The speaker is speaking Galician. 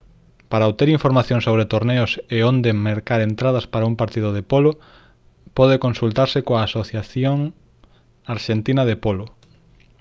para obter información sobre torneos e onde mercar entradas para os partidos de polo pode consultarse coa asociación arxentina de polo